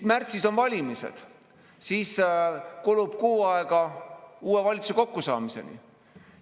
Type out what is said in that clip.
Märtsis on valimised, siis kulub kuu aega uue valitsuse kokkusaamiseni.